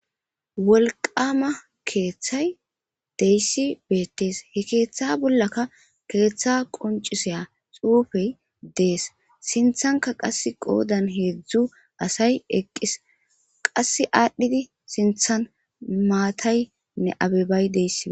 Wolqqama Keerthay de'iyaysi beetes. He keeththa bollaka keeththa qonc'isiya xuufey dees. Sinthankka qass qodan hezdzdu asay eqis. Qassi adhidi sinthan maataynne abebay dees.